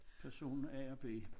Person A og B